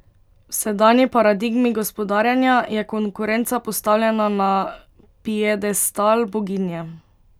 V sedanji paradigmi gospodarjenja je konkurenca postavljena na piedestal boginje.